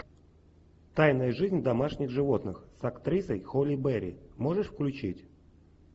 тайная жизнь домашних животных с актрисой холли берри можешь включить